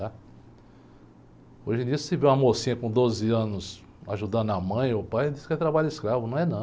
Tá? Hoje em dia, se você tiver uma mocinha com doze anos ajudando a mãe ou pai, diz que é trabalho escravo, não é não.